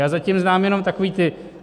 Já zatím znám jenom takové to: